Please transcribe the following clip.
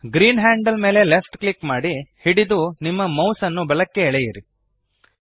green handle ಮೇಲೆ left click ಮಾಡಿ ಹಿಡಿದು ನಿಮ್ಮ ಮೌಸ್ ನ್ನು ಬಲಕ್ಕೆ ಎಳೆಯಿರಿ